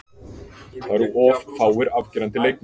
Það eru of fáir afgerandi leikmenn.